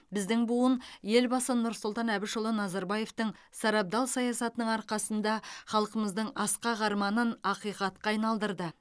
біздің буын елбасы нұрсұлтан әбішұлы назарбаевтың сарабдал саясатының арқасында халқымыздың асқақ арманын ақиқатқа айналдырды